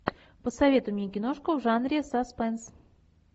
посоветуй мне киношку в жанре саспенс